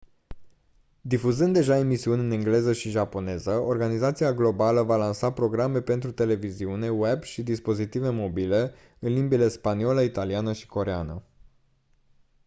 difuzând deja emisiuni în engleză și japoneză organizația globală va lansa programe pentru televiziune web și dispozitive mobile în limbile spaniolă italiană și coreeană